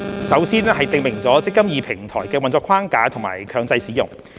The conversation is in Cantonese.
首先是訂明"積金易"平台的運作框架和強制使用。